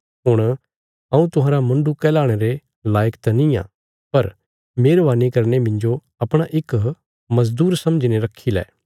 हुण हऊँ तुहांरा मुण्डु कहलाणे रे लायक त निआं पर मेहरवानी करीने मिन्जो अपणा इक मजदूर समझीने रखी लै